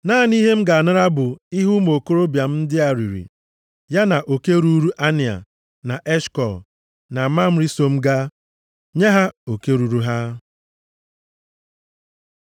Naanị ihe m ga-anara bụ ihe ụmụ okorobịa m ndị a riri, ya na oke ruuru Anea, na Eshkọl, na Mamre so m gaa. Nye ha oke ruuru ha.”